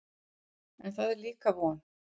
En það er líka von.